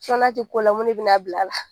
n'a tɛ ko la mun de bin'a bila la.